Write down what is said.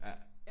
Ja